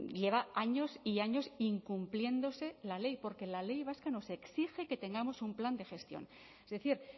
lleva años y años incumpliéndose la ley porque la ley vasca nos exige que tengamos un plan de gestión es decir